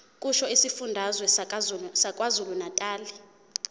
kusho isifundazwe sakwazulunatali